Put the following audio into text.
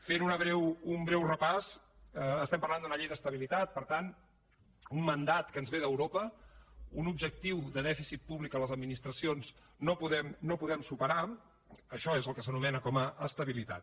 fent un breu repàs estem parlant d’una llei d’estabilitat per tant un mandat que ens ve d’europa un objectiu de dèficit públic a les administracions no podem superar això és el que s’anomena estabilitat